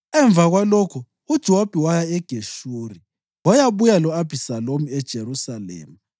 Emva kwalokho uJowabi waya eGeshuri wayabuya lo-Abhisalomu eJerusalema.